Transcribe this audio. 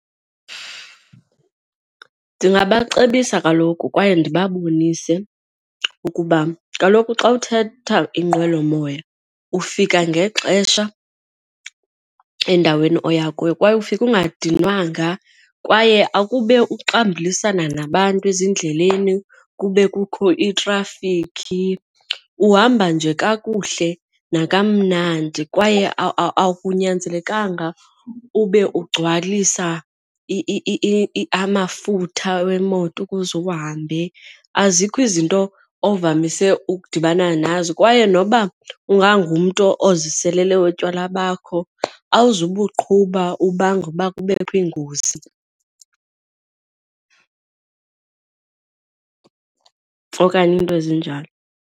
Ndingabacebisa kaloku kwaye ndibabonise ukuba kaloku xa uthatha inqwelomoya ufika ngexesha endaweni oya kuyo. Kwaye ufike ungadinwanga kwaye akube uxambulisana nabantu ezindleleni kube kukho iitrafikhi uhamba nje kakuhle nakamnandi kwaye akunyanzelekanga ube ukugcwalisa amafutha wemoto ukuze uhambe, azikho izinto ovamise ukudibana nazo. Kwaye noba ungangumntu oziselele utywala bakho awube uqhuba ubanga uba kubekho iingozi okanye iinto ezinjalo.